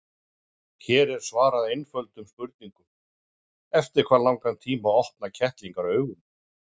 Hér er svarað eftirtöldum spurningum: Eftir hvað langan tíma opna kettlingar augun?